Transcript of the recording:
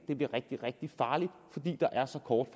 det bliver rigtig rigtig farligt fordi der er så kort